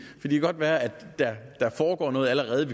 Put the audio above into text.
godt være at der foregår noget allerede